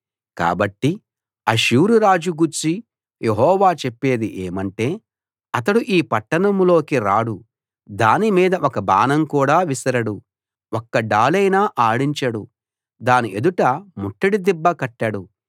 కాబట్టి అష్షూరు రాజు గూర్చి యెహోవా చెప్పేది ఏమంటే అతడు ఈ పట్టణంలోకి రాడు దాని మీద ఒక బాణం కూడా విసరడు ఒక్క డాలైనా ఆడించడు దాని ఎదుట ముట్టడి దిబ్బ కట్టడు